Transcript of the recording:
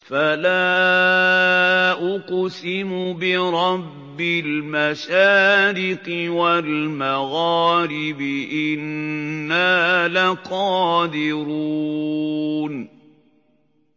فَلَا أُقْسِمُ بِرَبِّ الْمَشَارِقِ وَالْمَغَارِبِ إِنَّا لَقَادِرُونَ